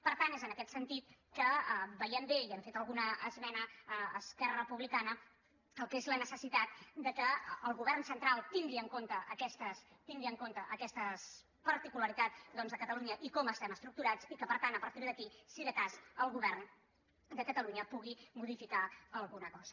per tant és en aquest sentit que veiem bé i hem fet alguna esmena a esquerra republicana el que és la necessitat que el govern central tingui en compte aquestes particularitats de catalunya i com estem estructurats i que per tant a partir d’aquí si de cas el govern de catalunya pugui modificar alguna cosa